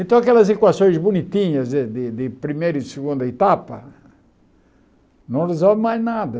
Então, aquelas equações bonitinhas de de de primeira e segunda etapa, não resolve mais nada.